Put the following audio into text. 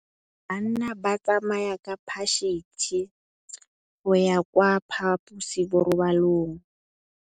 Bana ba tsamaya ka phašitshe go ya kwa phaposiborobalong.